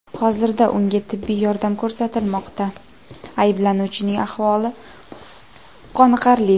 Hozirda unga tibbiy yordam ko‘rsatilmoqda, ayblanuvchining ahvoli qoniqarli.